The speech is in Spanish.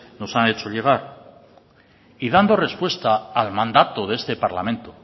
nos han hecho llegar y dando respuesta al mandato de este parlamento